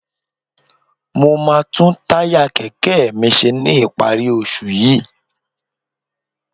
Mo máa tún táyà kẹ̀kẹ́ mi ṣe ní ìparí oṣù yìí